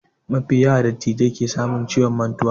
Mafi yawa dattijai ke samun ciwon mantuwa